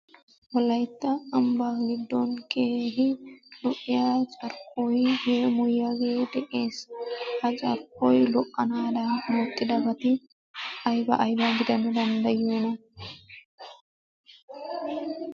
Wolaytta ambbaa giddon keehi lo'iya carkkoy yeemoyiyagee de'ees . Ha carkkoy lo"anaadan oottidabati ayba aybaa gidana danddayiyoona?